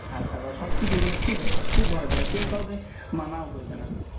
ঠাট্টা করা মানে সব কিছু খুব খুব ভালো জায়গা কেউ কাউকে মানাও করবেনা